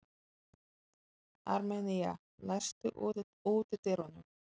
Armenía, læstu útidyrunum.